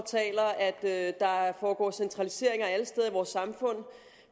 at at der foregår centraliseringer alle steder i vores samfund